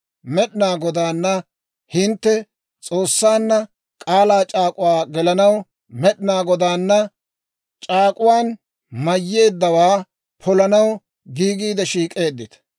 Med'inaa Godaana, hintte S'oossaanna, k'aalaa c'aak'uwaa gelanaw, Med'inaa Godaana c'aak'uwaan mayyeeddawaa polanaw giigiide shiik'eeddita.